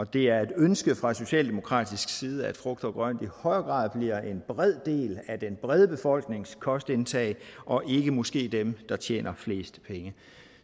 det er et ønske fra socialdemokratisk side at frugt og grønt i højere grad bliver en bred del af den brede befolknings kostindtag og ikke måske dem der tjener flest penge